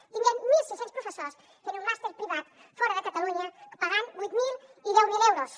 que tinguem mil sis cents professors fent un màster privat fora de catalunya pagant vuit mil i deu mil euros